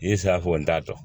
N ye sirafɔ n t'a dɔn